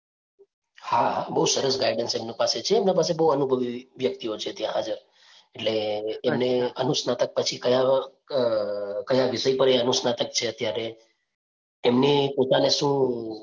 હા બહુ સરસ guidance એમની પાસે છે, એમના પાસે બહુ અનુભવી વ્યક્તિઓ છે ત્યાં હાજર. એટલે એમને અનુસ્નાતક પછી કયા અ કયા વિષય પર અનુસ્નાતક છે એ અત્યારે. એમની પોતાને શું